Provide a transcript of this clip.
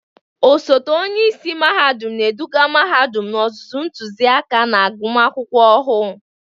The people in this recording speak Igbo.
Osote onye isi mahadum na-eduga mahadum n'ozuzu ntụziaka na agụmakwụkwọ ọhụụ.